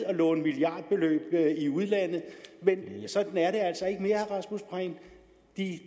at låne milliardbeløb i udlandet men sådan er det